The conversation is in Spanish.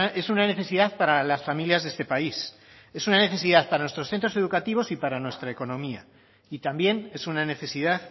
es una necesidad para las familias de este país es una necesidad para nuestros centros educativos y para nuestra economía y también es una necesidad